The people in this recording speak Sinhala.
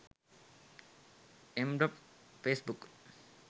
m.facebook